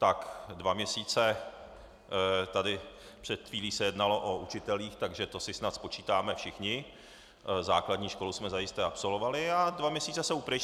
Tak dva měsíce tady - před chvílí se jednalo o učitelích, takže to si snad spočítáme všichni, základní školu jsme zajisté absolvovali - a dva měsíce jsou pryč.